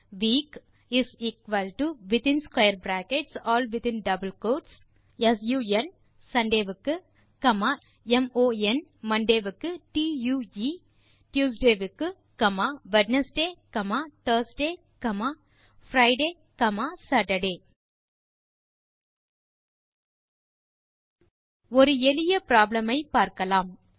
week is equal to within square brackets in double quotes Sunday sun பின் comma mon Monday க்கு பின் Tuesday ஆகவே tue பின் Wednesday Thursday Friday மற்றும் Saturday ஒரு எளிய ப்ராப்ளம் ஐ பார்க்கலாம்